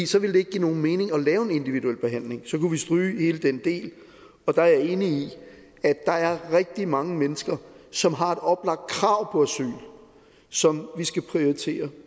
så ville det ikke give nogen mening at lave en individuel behandling så kunne vi stryge hele den del og der er jeg enig i at der er rigtig mange mennesker som har et oplagt krav på asyl som vi skal prioritere